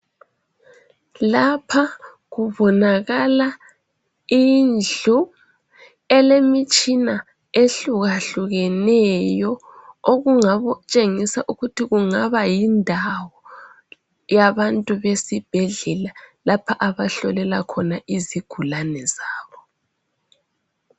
Lapha kubonakala indlu elemitshina ehlukahlukeneyo okungakutshengisa ukuthi kungaba yindawo yabantu besibhedlela lapho abahlolela khona izigulane zabo.